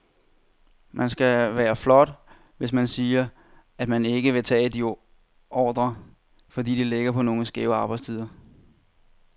Man skal da være flot, hvis man siger, at man ikke vil tage de ordrer, fordi de ligger på nogle skæve arbejdstider.